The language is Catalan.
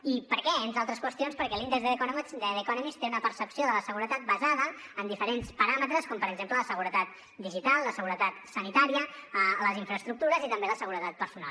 i per què entre altres qüestions perquè l’índex de the economist té una percepció de la seguretat basada en diferents paràmetres com per exemple la seguretat digital la seguretat sanitària les infraestructures i també la seguretat personal